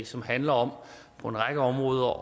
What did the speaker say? som handler om på en række områder